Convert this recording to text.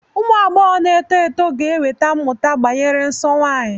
Ụmụ agbọghọ na-eto eto ga-enweta mmụta gbasara nsọ nwanyị.